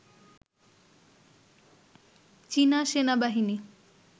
চীনা সেনাবাহিনী